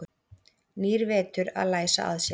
Nýr vetur að læsa að sér.